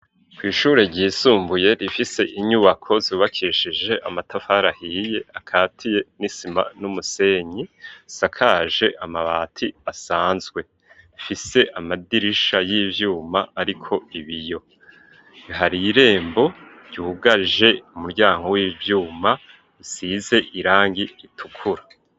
Kw'ishure ryisumbuye rifise inyubako zubakishije amatafara ahiye akatiye n'isima n'umusenyi sakaje amabati asanzwe fise amadirisha y'ibyuma ariko ibiyo bihariye irembo ryihugaje umuryango w'ibyuma isize irangi ritukura.